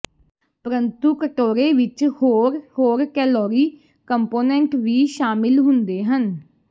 ਪਰੰਤੂ ਕਟੋਰੇ ਵਿੱਚ ਹੋਰ ਹੋਰ ਕੈਲੋਰੀ ਕੰਪੋਨੈਂਟ ਵੀ ਸ਼ਾਮਿਲ ਹੁੰਦੇ ਹਨ